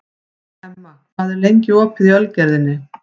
Emma, hvað er lengi opið í Ölgerðinni?